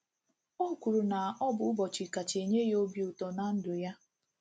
O kwuru na ọ bụ ụbọchị kacha enye ya obi ụtọ ná ndụ ya.